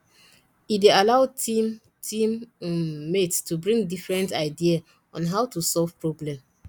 e dey allow team team um mates to bring different idea on how to solve problem